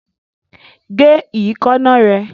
Gé ìkaná rẹ!